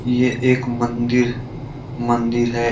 ये एक मंदिर मंदिर है।